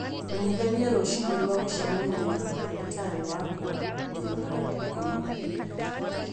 menyithanie rũcinĩ rwa gũcemania na ndagĩtarĩ wakwa mũthenya wa ikũmi na ĩĩrĩ